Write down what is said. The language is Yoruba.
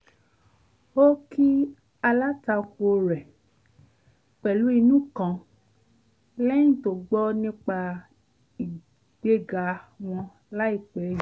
ó kí alátakò rẹ̀ pẹ̀lú inú kan lẹ́yìn tó gbọ́ nípa ìgbéga wọn láìpẹ́ yìí